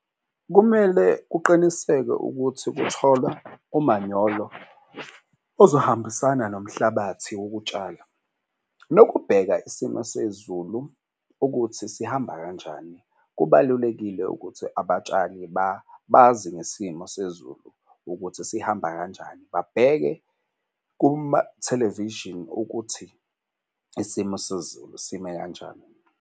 Kumele kuqinisekwe ukuthi kutholwa umanyolo ozohambisana nomhlabathi wokutshala. Nokubheka isimo sezulu ukuthi sihamba kanjani. Kubalulekile ukuthi abatshali bazi ngesimo sezulu ukuthi sihamba kanjani. Babheke kuma-television ukuthi isimo sezulu sime kanjani.